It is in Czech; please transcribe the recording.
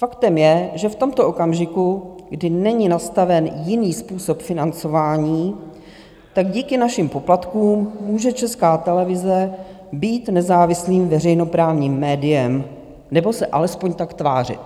Faktem je, že v tomto okamžiku, kdy není nastaven jiný způsob financování, tak díky našim poplatkům může Česká televize být nezávislým veřejnoprávním médiem, nebo se alespoň tak tvářit.